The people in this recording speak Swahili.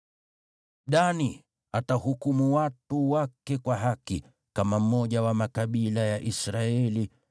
“Dani atahukumu watu wake kwa haki kama mmoja wa makabila ya Israeli.